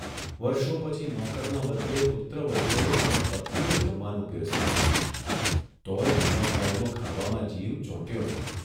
વર્ષો પછી નોકરના બદલે પુત્રવધૂએ અને પત્નીએ જમવાનું પીરસ્યું તોયે મન્મથરાયનો ખાવામાં જીવ ચોંટ્યો નહીં.